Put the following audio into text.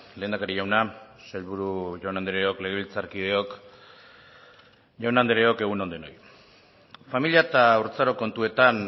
lehendakari jauna sailburu jaun andreok legebiltzarkideok jaun andreok egun on denoi familia eta haurtzaro kontuetan